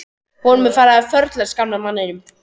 Honum er farið að förlast, gamla manninum.